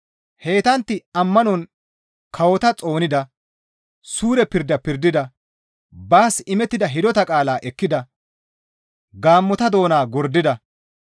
Heytantti ammanon kawota xoonida; suure pirda pirdida; baas imettida hidota qaalaa ekkida; gaammota doona gordida;